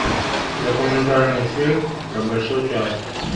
документальный фильм про большой театр